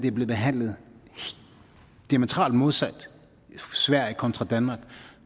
er blevet behandlet diametralt modsat i sverige kontra danmark